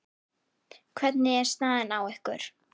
Hvernig er staðan á ykkur?